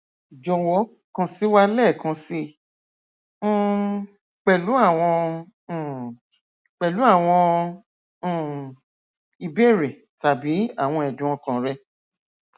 jọwọ kan si wa lẹẹkan sii um pẹlu awọn um pẹlu awọn um ibeere tabi awọn ẹdùn ọkàn rẹ